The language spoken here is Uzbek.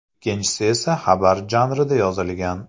Ikkinchisi esa xabar janrida yozilgan.